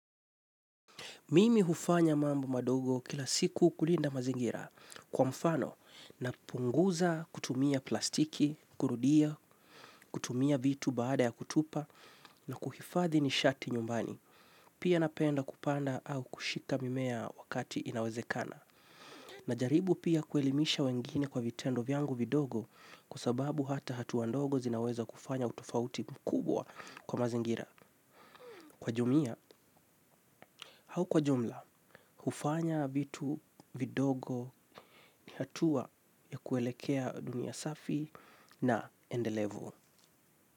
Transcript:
Mimi hufanya mambo madogo kila siku kulinda mazingira kwa mfano napunguza kutumia plastiki, kurudia, kutumia vitu baada ya kutupa na kuhifadhi nishati nyumbani. Pia napenda kupanda au kushika mimea wakati inawezekana. Najaribu pia kuelimisha wengine kwa vitendo vyangu vidogo kwa sababu hata hatua ndogo zinaweza kufanya utofauti mkubwa kwa mazingira. Kwa jumia au kwa jumla, kufanya vitu vidogo ni hatua ya kuelekea dunia safi na endelevu.